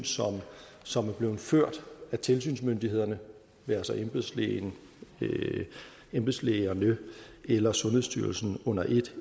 som er blevet ført af tilsynsmyndighederne altså embedslægerne embedslægerne eller sundhedsstyrelsen under et